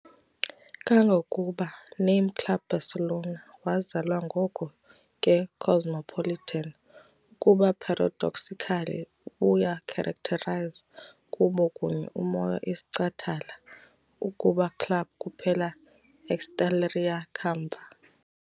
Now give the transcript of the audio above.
Kangangokuba, "Name Club Barcelona" wazalwa ngoko ke cosmopolitan, ukuba paradoxically ubuya characterize kubo kunye umoya isicatala ukuba club kuphela exaltaria kamva.